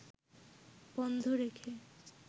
বন্ধ রেখে